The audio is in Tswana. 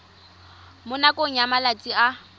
mo nakong ya malatsi a